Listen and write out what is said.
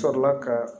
Sɔrɔla ka